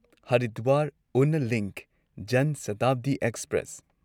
Haridwar Una link ꯖꯟꯁꯥꯇꯥꯕꯗꯤ express